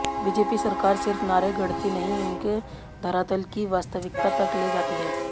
BJP सरकार सिर्फ नारे गढ़ती नहीं उन्हें धरातल की वास्तविकता तक ले जाती है